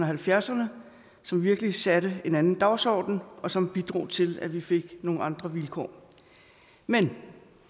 halvfjerdserne som virkelig satte en anden dagsorden og som bidrog til at vi fik nogle andre vilkår men